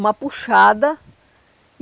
Uma puxada.